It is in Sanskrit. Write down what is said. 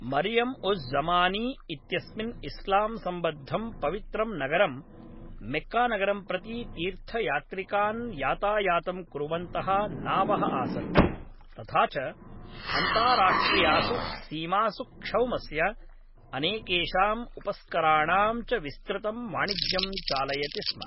मरियम् उज़् ज़मानी इत्यस्मिन इस्लाम् सम्बद्दं पवित्रं नगरं मेक्कानगरं प्रति तीर्थयात्रिकान् यातायातं कुर्वन्तः नावः आसन्, तथा च अन्ताराष्ट्रियासु सीमासु क्षौमस्य, अनेकेषाम् उपस्कराणां च विस्तृतं वाणिज्यं चालयति स्म।